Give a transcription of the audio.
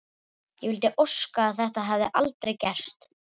Ég vildi óska að þetta hefði aldrei gerst.